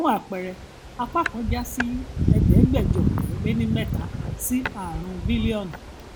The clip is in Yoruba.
fún àpẹẹrẹ apá kan já sí ẹẹdẹgbẹjọ ọkẹ le ní mẹta sí ààrún bílíọnù